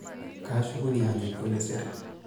Kaashukunye ajoki olesere.